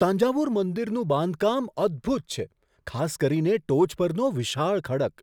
તાન્જાવુર મંદિરનું બાંધકામ અદભૂત છે, ખાસ કરીને ટોચ પરનો વિશાળ ખડક.